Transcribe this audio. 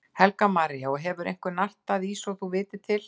Helga María: Og hefur einhver nartað í svo þú vitir til?